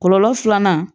Kɔlɔlɔ filanan